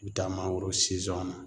I bɛ taa mangoro na